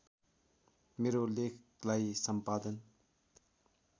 मेरो लेखलाई सम्पादन